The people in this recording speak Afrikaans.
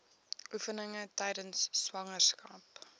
oefeninge tydens swangerskap